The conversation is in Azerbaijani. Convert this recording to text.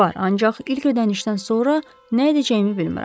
Var, ancaq ilk ödənişdən sonra nə edəcəyimi bilmirəm.